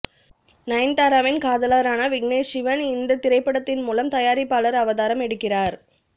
நயன்தாராவின் காதலரான விக்னேஷ் சிவன் இந்த திரைப்படத்தின் மூலம் தயாரிப்பாளர் அவதாரம் எடுக்கிறார்